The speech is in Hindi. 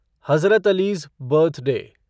हज़रत अली'ज़ बर्थडे